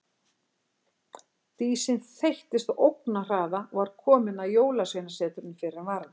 Dísin þeyttist á ógnarhraða og var komin að Jólasveinasetrinu fyrr en varði.